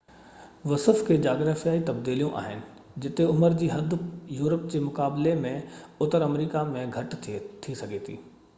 وصف کي جاگرافيائي تبديليون آهن جتي عمر جي حد يورپ جي مقابلي ۾ اتر آمريڪا ۾ گهٽ ٿي سگهي ٿي